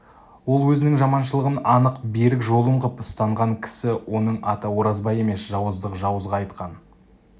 ол өзінің жаманшылығын анық берік жолым қып ұстанған кісі оның аты оразбай емес жауыздық жауызға айтқан